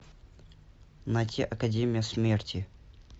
найти академия смерти